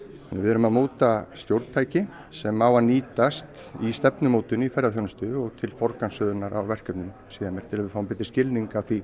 við erum að móta stjórntæki með sem á að nýtast í stefnumótun í ferðaþjónustu og til forgangsröðunar á verkefnum síðar meir til að við fáum betri skiling á því